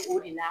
O de la